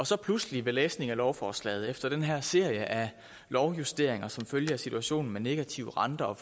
så pludselig ved læsning af lovforslaget og efter den her serie af lovjusteringer som følge af situationen med negativ rente og